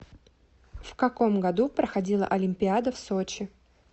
в каком году проходила олимпиада в сочи